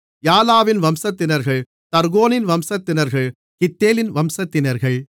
யாலாவின் வம்சத்தினர்கள் தர்கோனின் வம்சத்தினர்கள் கித்தேலின் வம்சத்தினர்கள்